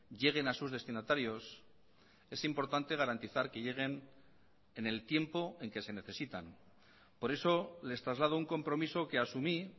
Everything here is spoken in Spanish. lleguen a sus destinatarios es importante garantizar que lleguen en el tiempo en que se necesitan por eso les traslado un compromiso que asumí